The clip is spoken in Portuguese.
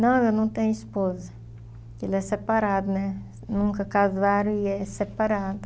Não, eu não tenho esposa, ele é separado né, nunca casaram e é separado.